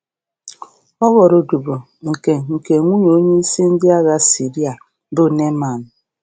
Ọ ghọrọ um odibo nke nke nwunye onyeisi ndị agha Siria, bụ Neaman.